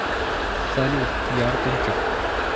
салют я артурчик